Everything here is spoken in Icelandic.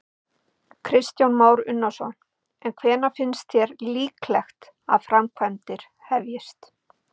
Kristján Már Unnarsson: En hvenær finnst þér líklegt að framkvæmdir hefjist?